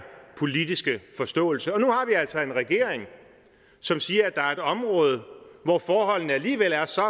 politiske forståelse og nu har vi altså en regering som siger at der er et område hvor forholdene alligevel er så